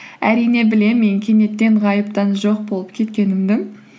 әрине білемін мен кенеттен ғайыптан жоқ болып кеткенімді